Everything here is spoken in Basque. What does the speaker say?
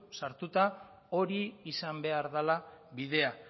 sartura hori izan behar dela bidea